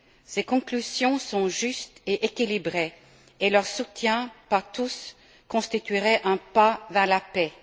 Ses conclusions sont justes et équilibrées et leur soutien par tous constituerait un pas vers la paix.